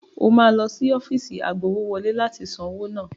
Wà á lọ sí ọ́fíìsì agbowówọlé láti san owó náà.